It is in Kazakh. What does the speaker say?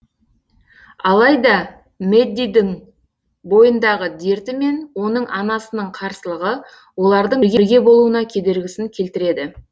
алайда мэддидің бойындағы дерті мен оның анасының қарсылығы олардың бірге болуына кедергісін келтіреді